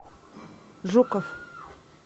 жуков